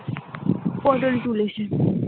পটল তুলেছে ।